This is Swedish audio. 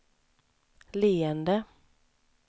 leende